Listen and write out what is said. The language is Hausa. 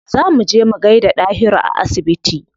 Za mu je mu gaida Dahiru a asibiti.